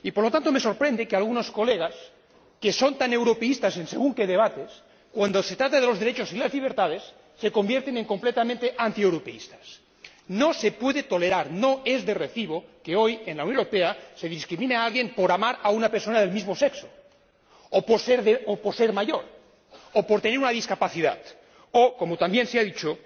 Y, por lo tanto, me sorprende que algunos colegas, que son tan europeístas en según qué debates, cuando se trata de los derechos y de las libertades se conviertan en completamente antieuropeístas. No se puede tolerar, no es de recibo que hoy, en la Unión Europea, se discrimine a alguien por amar a una persona del mismo sexo, o por ser mayor, o por tener una discapacidad, o, como también se ha dicho,